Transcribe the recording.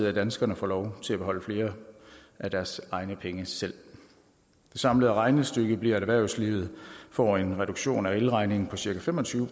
at danskerne får lov til at beholde flere af deres egne penge selv det samlede regnestykke bliver at erhvervslivet får en reduktion af el regningen på cirka fem og tyve